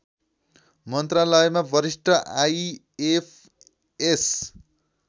मन्त्रालयमा वरिष्ठ आइएफएस